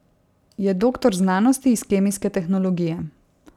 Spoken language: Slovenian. Je doktor znanosti iz kemijske tehnologije.